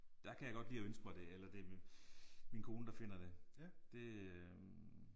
Der kan jeg godt lide at ønske mig det eller det er min kone der finder det det øh